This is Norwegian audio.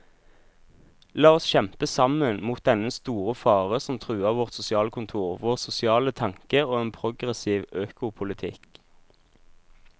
La oss kjempe sammen mot dennne store fare som truer vårt sosialkontor, vår sosiale tanke og en progressiv økopolitikk.